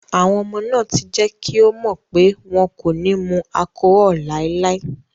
Àwọn ọmọ náà ti jẹ́ kí ó mọ̀ pé wọn kò ní mu allcohol láéláé.